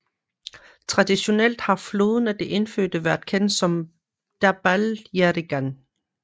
Traditionelt har floden af de indfødte været kendt som Derbarl Yerrigan